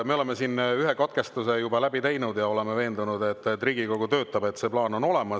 Me oleme siin ühe katkestuse juba läbi teinud ja oleme veendunud, et Riigikogu töötada.